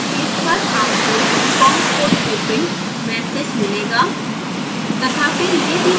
scilab workspace पर आपको com port opened message मिलेगा